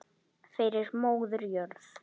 Fyrir móður jörð.